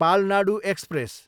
Palnadu express